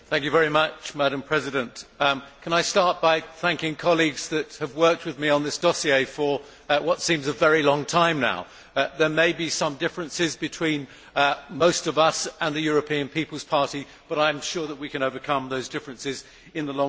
Madam President, can I start by thanking colleagues that have worked with me on this dossier for what seems a very long time now. There may be some differences between most of us and the European People's Party but I am sure that we can overcome those differences in the long term.